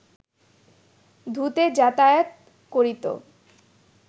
ধু-তে যাতায়াত করিত